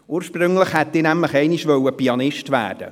Ursprünglich wollte ich nämlich Pianist werden.